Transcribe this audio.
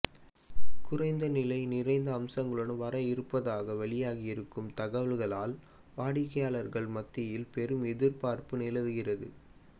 குறைந்த நிலை நிறைந்த அம்சங்களுடன் வர இருப்பதாக வெளியாகி இருக்கும் தகவல்களால் வாடிக்கையாளர் மத்தியில் பெரும் எதிர்பார்ப்பு நிலவுகிறது